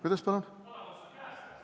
Kuidas palun?